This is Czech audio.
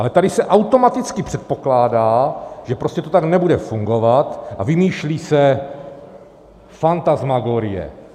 Ale tady se automaticky předpokládá, že prostě to tak nebude fungovat, a vymýšlí se fantasmagorie.